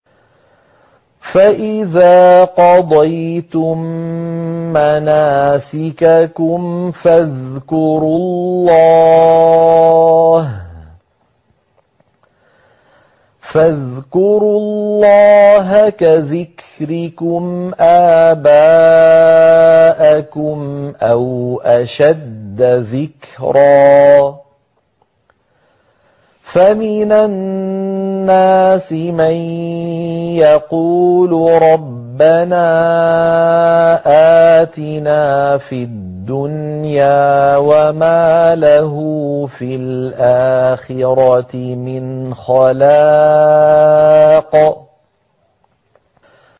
فَإِذَا قَضَيْتُم مَّنَاسِكَكُمْ فَاذْكُرُوا اللَّهَ كَذِكْرِكُمْ آبَاءَكُمْ أَوْ أَشَدَّ ذِكْرًا ۗ فَمِنَ النَّاسِ مَن يَقُولُ رَبَّنَا آتِنَا فِي الدُّنْيَا وَمَا لَهُ فِي الْآخِرَةِ مِنْ خَلَاقٍ